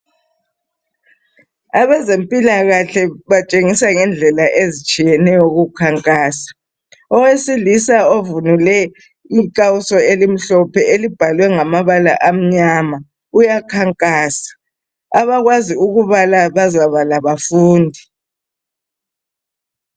Abezempilakahle batshengisa ngendlela ezitshiyeneyo ukukhankasa .Owesilisa ovunule inhlawuso elimhlophe elibhalwe ngamabala amnyama uyakhankasa abakwazi ukubala bazabala bafunde